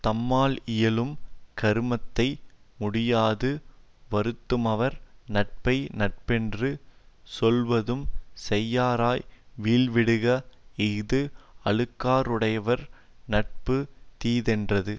தம்மாலியலும் கருமத்தை முடியாது வருத்துமவர் நட்பை நட்பென்று சொல்லுவதும் செய்யாராய் வீழ்விடுக இஃது அழுக்காறுடையார் நட்பு தீதென்றது